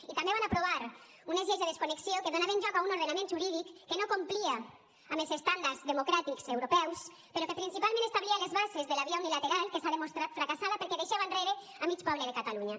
i també van aprovar unes lleis de desconnexió que donaven lloc a un ordenament jurídic que no complia amb els estàndards democràtics europeus però que principalment establia les bases de la via unilateral que s’ha demostrat fracassada perquè deixava enrere mig poble de catalunya